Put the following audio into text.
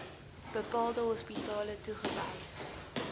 bepaalde hospitale toegewys